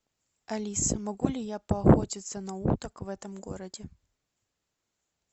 алиса могу ли я поохотиться на уток в этом городе